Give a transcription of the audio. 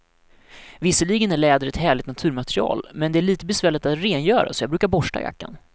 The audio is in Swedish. Visserligen är läder ett härligt naturmaterial, men det är lite besvärligt att rengöra, så jag brukar borsta jackan.